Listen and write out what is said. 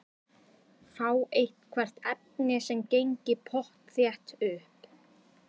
Fá eitthvert efni sem gengi pottþétt upp.